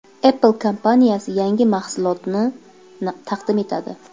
Apple kompaniyasi yangi mahsulotini taqdim etadi.